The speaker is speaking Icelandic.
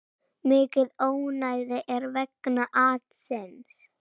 Mikið ónæði er vegna atsins.